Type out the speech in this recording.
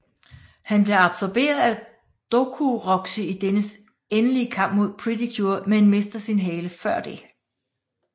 Han bliver absorberet af Dokuroxy i dennes endelige kamp mod Pretty Cure men mister sin hale før det